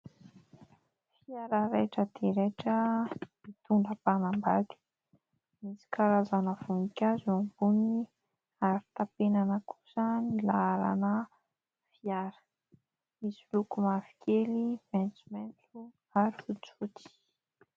Fiara raitra dia raitra mitondra mpanambady. Misy karazana voninkazo eo amboniny, ary tapenana kosa ny laharana fiara. Misy loko mavo kely, maitsomaitso ary fotsifotsy.